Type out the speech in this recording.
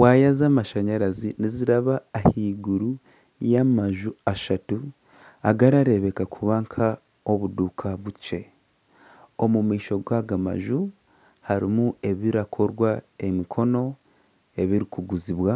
Waaya z'amashanyarazi niziraba ahaiguru y'amaju ashatu agarareebeka kuba nk'obuduuka bukye. Omu maisho g'aga maju hariho ebirakorwa emikono ebirikuguzibwa